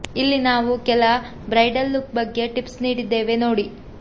ಇಲ್ಲಿ ನಾವು ಕೆಲ ಬ್ರೈಡಲ್ ಲುಕ್ ಬಗ್ಗೆ ಟಿಪ್ಸ್ ನೀಡಿದ್ದೇವೆ ನೋಡಿ